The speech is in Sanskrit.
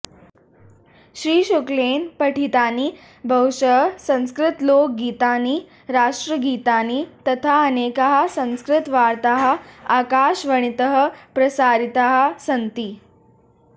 श्री शुक्लेन पठितानि बहुशः संस्कृतलोकगीतानि राष्ट्रगीतानि तथा अनेकाः संस्कृतवार्ताः आकाशवणीतः प्रसारिताः सन्ति